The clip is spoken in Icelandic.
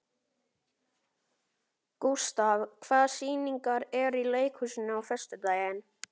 Gustav, hvaða sýningar eru í leikhúsinu á föstudaginn?